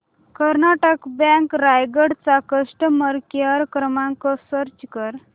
Karnataka bank Raigad चा customer care क्रमांक search कर